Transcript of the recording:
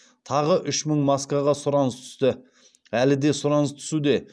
тағы үш мың маскаға сұраныс түсті әлі де сұраныс түсуде